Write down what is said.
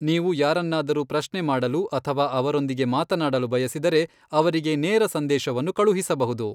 ನೀವು ಯಾರನ್ನಾದರೂ ಪ್ರಶ್ನೆ ಮಾಡಲು ಅಥವಾ ಅವರೊಂದಿಗೆ ಮಾತನಾಡಲು ಬಯಸಿದರೆ, ಅವರಿಗೆ ನೇರ ಸಂದೇಶವನ್ನು ಕಳುಹಿಸಬಹುದು.